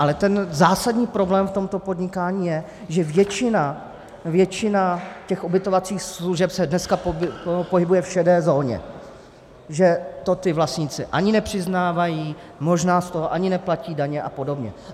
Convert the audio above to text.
Ale ten zásadní problém v tomto podnikání je, že většina těch ubytovacích služeb se dneska pohybuje v šedé zóně, že to ti vlastníci ani nepřiznávají, možná z toho ani neplatí daně a podobně.